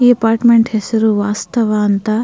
ಈ ಅಪಾರ್ಟ್ಮೆಂಟ್ ಹೆಸರು ವಾಸ್ತವ ಅಂತ.